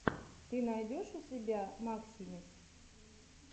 ты найдешь у себя максимис